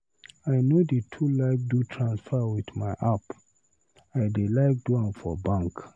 I no dey too like do transfer with my app, I dey like do am for bank.